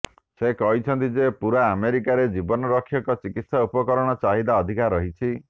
ସେ କହିଛନ୍ତି ଯେ ପୂରା ଆମେରିକାରେ ଜୀବନ ରକ୍ଷକ ଚିକିତ୍ସା ଉପକରଣ ଚାହିଦା ଅଧିକ ରହିଛି